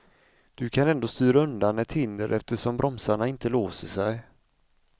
Du kan ändå styra undan ett hinder eftersom bromsarna inte låser sig.